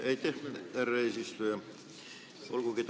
Aitäh, härra eesistuja!